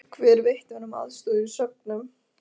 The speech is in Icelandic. Hver veitti honum aðstoð í söngnum?